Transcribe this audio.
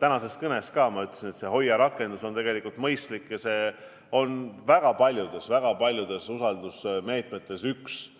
Tänases kõneski ütlesin, et see HOIA rakendus on mõistlik ja see on väga paljudest usaldusmeetmetest üks